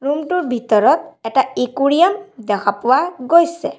Room টোৰ ভিতৰত এটা একুৰিয়াম দেখা পোৱা গৈছে।